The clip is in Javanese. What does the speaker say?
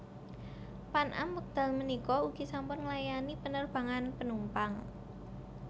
Pan Am wekdal punika ugi sampun nglayani penerbangan penumpang